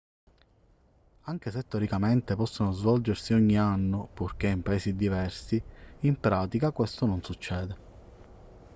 anche se teoricamente possono svolgersi ogni anno purché in paesi diversi in pratica questo non succede